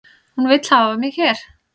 Hún vill hafa mig hér